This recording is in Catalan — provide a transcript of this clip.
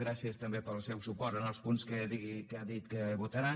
gràcies també pel seu suport en els punts que ha dit que votaran